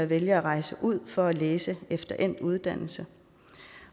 vælger at rejse ud for at læse efter endt uddannelse